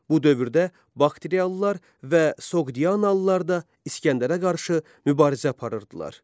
Bu dövrdə Bakteriyalılar və Soqdianalılar da İsgəndərə qarşı mübarizə aparırdılar.